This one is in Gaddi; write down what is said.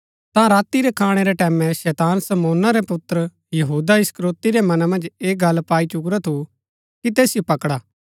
ता राती रै खाणै रै टैमैं शैतान शमौना रै पुत्र यहूदा इस्करियोती रै मना मन्ज ऐह गल्ल पाई चुकुरा थू कि तैसिओ पकडा